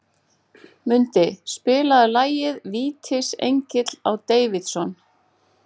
Mundi, spilaðu lagið „Vítisengill á Davidson“.